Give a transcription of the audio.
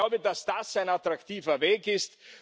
Ich glaube, dass das ein attraktiver Weg ist.